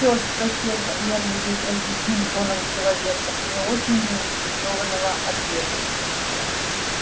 все спросил байерли безразличным тоном человека не очень заинтересованного ответом